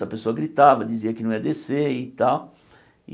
Essa pessoa gritava, dizia que não ia descer e tal.